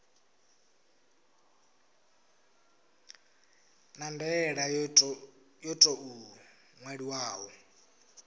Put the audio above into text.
na ndaela yo tou ṅwaliwaho